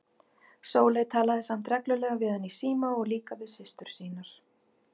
Sóley talaði samt reglulega við hann í síma og líka við systur sínar.